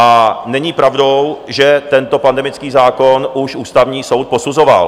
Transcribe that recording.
A není pravdou, že tento pandemický zákon už Ústavní soud posuzoval.